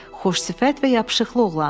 Xoş sifət və yapışıqlı oğlandı.